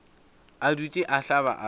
a dutše a hlaba a